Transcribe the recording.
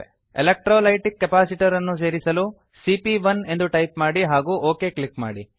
electrolytic capacitor ಅನ್ನು ಸೇರಿಸಲು ಸಿಪಿಯ1 ಎಂದು ಟೈಪ್ ಮಾಡಿ ಹಾಗೂ ಒಕ್ ಕ್ಲಿಕ್ ಮಾಡಿ